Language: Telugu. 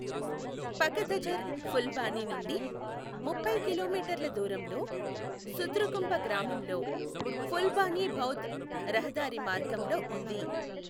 పకదఝర్ ఫుల్బానీ నుండి ముప్పై కిలోమీటర్ల దూరంలో సుద్రుకుంప గ్రామంలో ఫుల్బానీ బౌధ్ రహదారి మార్గంలో ఉంది